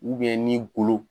ni golo